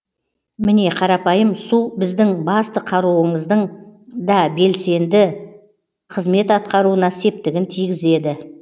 міне қарапайым су сіздің басты қаруыңыздың да белсенді қызмет атқаруына септігін тигізеді